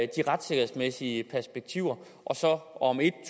de retssikkerhedsmæssige perspektiver om en